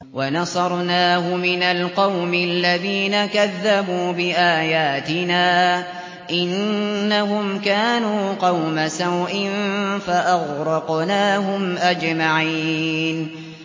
وَنَصَرْنَاهُ مِنَ الْقَوْمِ الَّذِينَ كَذَّبُوا بِآيَاتِنَا ۚ إِنَّهُمْ كَانُوا قَوْمَ سَوْءٍ فَأَغْرَقْنَاهُمْ أَجْمَعِينَ